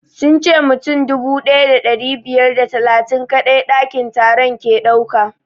Sun ce mutum dubu ɗaya da ɗari biyar da talatin kaɗai ɗakin taron ke ɗauka